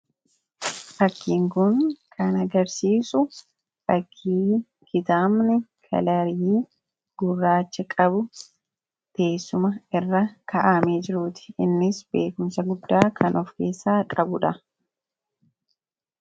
Fakkiin kun kan agarsiisu suuraa kitaabni kalarii gurraacha qabu teessuma irra kaawamee jiruuti innis beekumsa guddaa kan of keessaa qabudha.